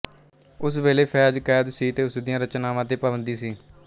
ਉਸ ਵੇਲੇ ਫ਼ੈਜ਼ ਕੈਦ ਸੀ ਅਤੇ ਉਸ ਦੀਆਂ ਰਚਨਾਵਾਂ ਤੇ ਪਾਬੰਦੀ ਸੀ